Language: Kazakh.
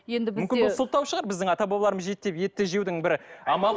енді бізде бұл сылтау шығар біздің ата бабаларымыз жеді деп етті жеудің бір амалы